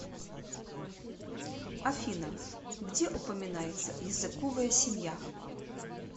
афина где упоминается языковая семья